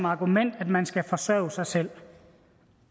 argument at man skal kunne forsørge sig selv